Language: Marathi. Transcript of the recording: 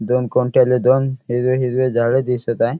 दोन खुंट्याले दोन हिरवे हिरवे झाड दिसत आहे.